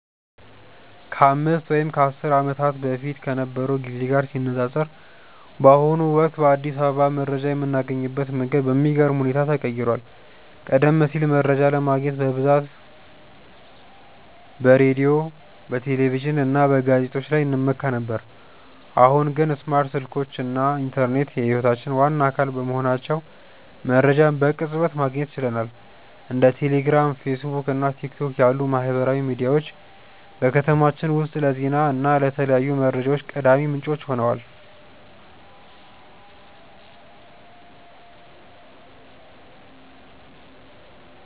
ከአምስት ወይም ከአስር ዓመታት በፊት ከነበረው ጊዜ ጋር ሲነፃፀር፣ በአሁኑ ወቅት በአዲስ አበባ መረጃ የምናገኝበት መንገድ በሚገርም ሁኔታ ተቀይሯል። ቀደም ሲል መረጃ ለማግኘት በብዛት በሬዲዮ፣ በቴሌቪዥን እና በጋዜጦች ላይ እንመካ ነበር፤ አሁን ግን ስማርት ስልኮች እና ኢንተርኔት የህይወታችን ዋና አካል በመሆናቸው መረጃን በቅጽበት ማግኘት ችለናል። እንደ ቴሌግራም፣ ፌስቡክ እና ቲክቶክ ያሉ ማህበራዊ ሚዲያዎች በከተማችን ውስጥ ለዜና እና ለተለያዩ መረጃዎች ቀዳሚ ምንጮች ሆነዋል።